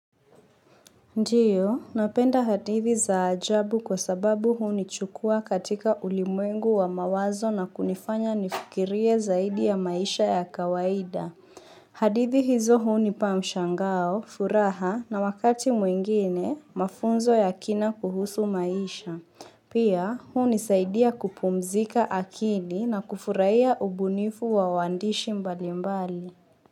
Ndiyo, napenda hadithi za ajabu kwa sababu hunichukua katika ulimwengu wa mawazo na kunifanya nifikirie zaidi ya maisha ya kawaida. Hadithi hizo hunipa mshangao, furaha na wakati mwingine mafunzo ya kina kuhusu maisha. Pia hunisaidia kupumzika akili na kufurahia ubunifu wa waandishi mbalimbali.